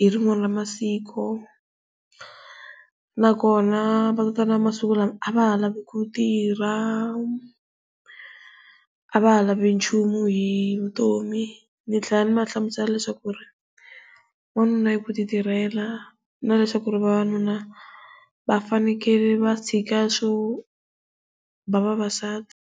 hi rin'wana ra masiku. Na kona va tatana va masiku lawa a va ha ku tirha a va ha lavi nchumu hi vutomi, ndzi tlhela ndzi va hlamusela leswaku ri n'wanuna i ku ti tirhela na leswaku ri vavanuna va fanakeler va tshika swo va vavasati.